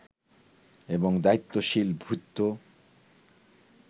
এবং দায়িত্বশীল ভৃত্য